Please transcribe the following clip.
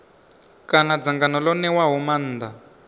kana dzangano ḽo ṋewaho maanḓa